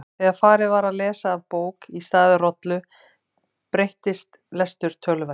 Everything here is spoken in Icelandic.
Þegar farið var að lesa af bók í stað rollu breyttist lestur töluvert.